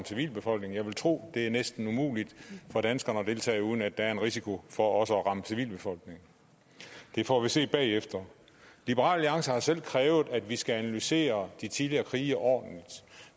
civilbefolkningen jeg vil tro det er næsten umuligt for danskerne at deltage uden at der er en risiko for også at ramme civilbefolkningen det får vi se bagefter liberal alliance har selv krævet at vi skal analysere de tidligere krige ordentligt